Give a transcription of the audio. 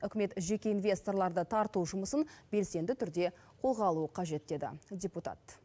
үкімет жеке инвесторларды тарту жұмысын белсенді түрде қолға алуы қажет деді депутат